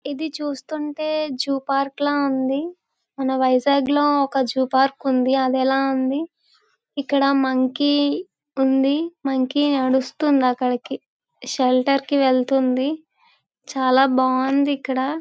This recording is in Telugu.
ఇది చూస్తుంటే జూ పార్క్ ల ఉంది. మన వైజాగ్ లో ఒక జూ పార్క్ ఉంది. అదెలా ఉంది. ఇక్కడ మంకీ ఉంది. మంకీ నడుస్తుంది అక్కడికి. షెల్టర్ కి వెళ్తుంది. చాలా బాగుంది ఇక్కడ.